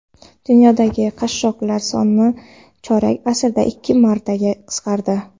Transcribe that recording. Dunyodagi qashshoqlar soni chorak asrda ikki martaga qisqardi.